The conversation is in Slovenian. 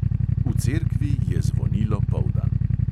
V cerkvi je zvonilo poldan.